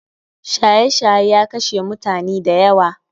Shaye shaye ya kashe mutani dayawa